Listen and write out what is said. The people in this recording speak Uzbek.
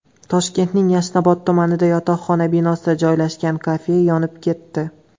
Toshkentning Yashnobod tumanida yotoqxona binosida joylashgan kafe yonib ketdi.